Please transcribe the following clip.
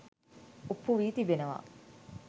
ඔප්පු වී තිබෙනවා.